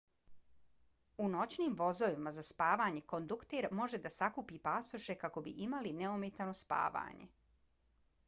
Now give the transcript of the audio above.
u noćnim vozovima za spavanje kondukter može da sakupi pasoše kako bi imali neometano spavanje